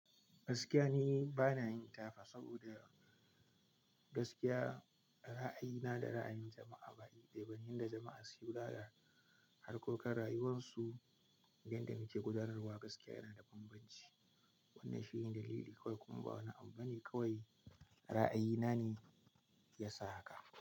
Gaskiya ni bana yin tafa saboda gaskiya ra'ayina da ra'ayin jama'a ba yanda jama'a suke kula da harkokan rayuwansu. Yanda muke gudanarwa gaskiya yana da banbanci. Wannan shi ne dalili kawai kuma ba wani abu bane kawai ra'ayina ne ya sa haka.